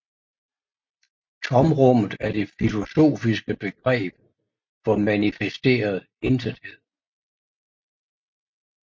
Tomrummet er det filosofiske begreb for manifesteret intethed